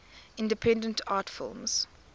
independent art films